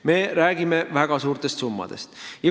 Me räägime väga suurtest summadest.